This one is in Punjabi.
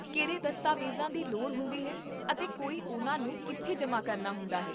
ਕਿਹੜੇ ਦਸਤਾਵੇਜ਼ਾਂ ਦੀ ਲੋੜ ਹੁੰਦੀ ਹੈ ਅਤੇ ਕੋਈ ਉਹਨਾਂ ਨੂੰ ਕਿੱਥੇ ਜਮ੍ਹਾਂ ਕਰਨਾ ਹੁੰਦਾ ਹੈ?